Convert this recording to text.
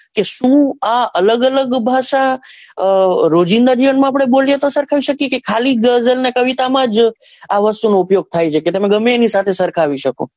કે શું આ અલગ અલગ ભાષા અ રોજીંદા જીવન માં બોલીએ તો આપડે સરખાવી શકીએ કે ખાલી ગઝલ કે કવિતા માં જ આ વસ્તુ નો ઉપયોગ થાય છે કે તમે ગમે તેની સાથે સરખાવી શકો.